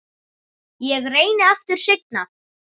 Ég reyni aftur seinna